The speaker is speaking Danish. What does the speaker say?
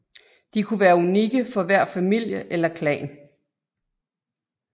De kunne være unikke for hver familie eller klan